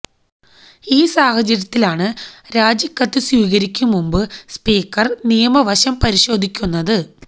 ഈ സാഹചര്യത്തിലാണ് രാജിക്കത്ത് സ്വീകരിക്കും മുമ്പ് സ്പീക്കര് നിയമവശം പരിശോധിക്കുന്നത്